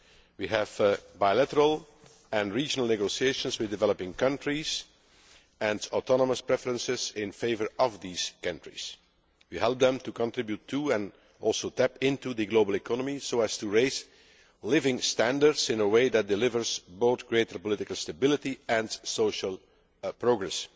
We have bilateral and regional negotiations with developing countries and autonomous preferences in favour of these countries. We help them to contribute to, and also tap into, the global economy so as to raise living standards in a way that delivers both greater political stability and social progress.